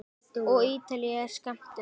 Og Ítalía er skammt undan.